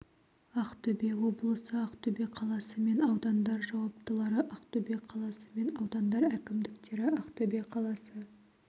ақтөбе облысы ақтөбе қаласы мен аудандар жауаптылары ақтөбе қаласы мен аудандар әкімдіктері ақтөбе қаласы